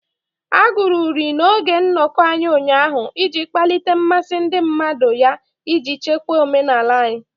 A agụrụ uri n'oge nnọkọ anyị ụnyaahụ iji kpalite mmasị ndị mmadụ ya iji chekwa omenala anyị.